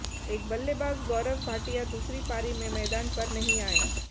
एक बल्लेबाज गौरव भाटिया दूसरी पारी में मैदान पर नहीं आए